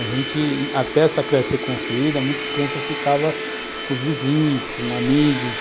A gente... Até essa creche ser construída, muitas crianças ficavam com os vizinhos, com amigos,